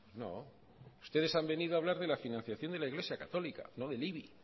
no ustedes han venido a hablar de la financiación de la iglesia católica no del ibi y